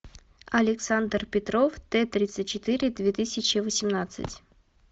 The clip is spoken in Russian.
александр петров т тридцать четыре две тысячи восемнадцать